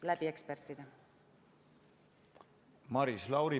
Maris Lauri, palun!